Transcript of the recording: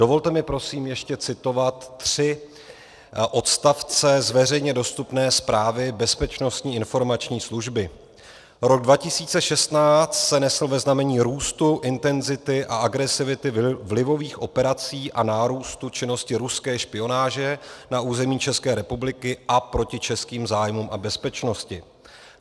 Dovolte mi prosím ještě citovat tři odstavce z veřejně dostupné zprávy Bezpečnostní informační služby: Rok 2016 se nesl ve znamení růstu intenzity a agresivity vlivových operací a nárůstu činnosti ruské špionáže na území České republiky a proti českým zájmům a bezpečnosti.